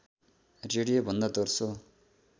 radio भन्दा दोस्रो